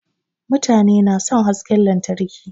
Mutane na son hasken lantarki.